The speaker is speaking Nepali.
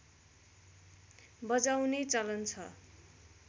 बजाउने चलन छ